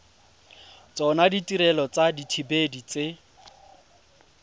tsona ditirelo tsa dithibedi tse